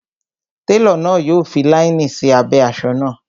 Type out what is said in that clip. Télọ̀ náà yọ fi láínì sí abẹ́ asọ náà